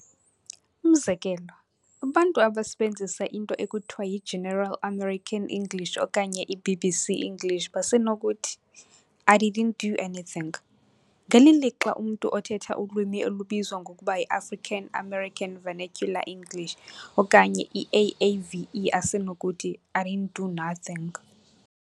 Umzekelo, abantu abasebenzisa into ekuthiwa yi-General American English okanye i-BBC English basenokuthi, "I didn't do anything", ngeli lixa umntu othetha ulwimi olubizwa ngokuba yi-African American Vernacular English okanye i-AAVE asenokuthi, "I didn't do nothing".